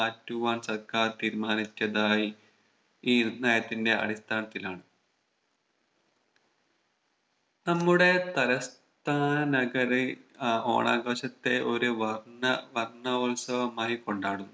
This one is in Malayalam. മാറ്റുവാൻ സർക്കാർ തീരുമാനിച്ചതായി ഈ നയത്തിന്റെ അടിസ്ഥാനത്തിലാണ് നമ്മുടെ തലസ്ഥാന നഗറിൽ ആഹ് ഓണാഘോഷത്തെ ഒരു വർണ്ണ വർണ്ണോത്സവമായി കൊണ്ടാടുന്നു